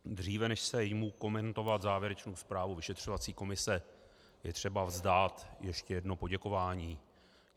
Dříve než se jmu komentovat závěrečnou zprávu vyšetřovací komise, je třeba vzdát ještě jedno poděkování.